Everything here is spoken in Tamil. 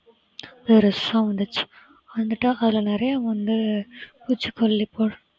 பெருசா வந்துச்சு வந்துட்டா அதுல நிறைய வந்து பூச்சிகொல்லி போடு~